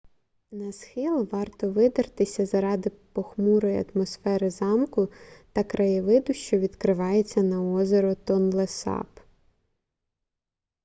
на схил варто видертися заради похмурої атмосфери замку та краєвиду що відкривається на озеро тонлесап